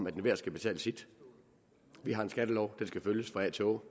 at enhver skal betale sit vi har en skattelov og den skal følges fra a til å